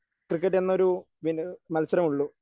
Cricket എന്നൊരു ഗെ മത്സരം ഉള്ളൂ.